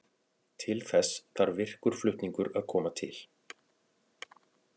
Til þess þarf virkur flutningur að koma til.